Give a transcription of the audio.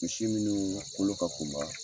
Misi minnu kolo ka kunba